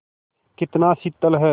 कितना शीतल है